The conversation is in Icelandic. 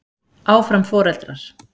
Áfram foreldrar.